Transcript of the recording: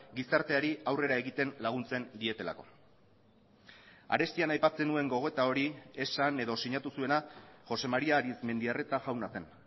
gizarteari aurrera egiten laguntzen dietelako arestian aipatzen nuen gogoeta hori esan edo sinatu zuena josé maría arizmendiarreta jauna zen